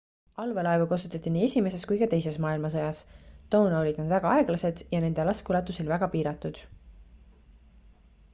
allveelaevu kasutati nii esimeses kui ka teises maailmasõjas toona olid nad väga aeglased ja nende laskeulatus oli väga piiratud